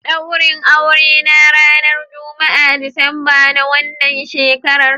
Daurin aure na ranar Juma'a Disamba na wannan shekara